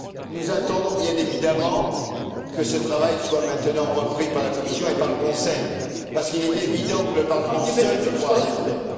Nous attendons, bien évidemment, que ce travail soit maintenant repris par la Commission et par le Conseil, puisqu'il est évident que le Parlement seul ne pourra rien faire.